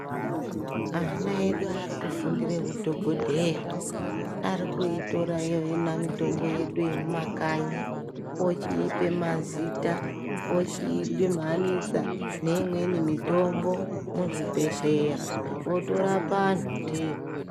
Ana edu arikufundire kudhogodheya .Arikuitora iyo yona mitombo yedu yekumakanyi , ochiipe mazita ochiidhumhanhisa neimweni mitombo muzvibhehleya otorapa anhu ndiyo